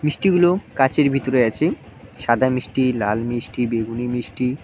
মিষ্টিগুলো কাঁচের ভিতরে আছে সাদা মিষ্টি লাল মিষ্টি বেগুনি মিষ্টি।